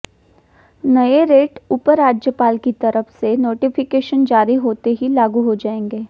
नए रेट उप राज्यपाल की तरफ से नोटिफिकेशन जारी होते ही लागू हो जाएंगे